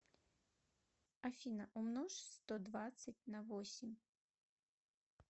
афина умножь сто двадцать на восемь